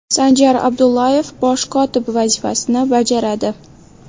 Sanjar Abdullayev bosh kotib vazifasini bajaradi.